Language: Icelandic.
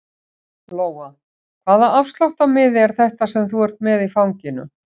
Lóa: Hvaða afsláttarmiði er þetta sem þú ert með í fanginu?